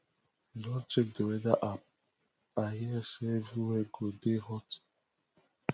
you don check the weather app i hear sey everywhere go dey hot